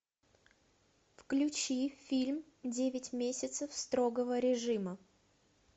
включи фильм девять месяцев строгого режима